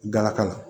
Galaka la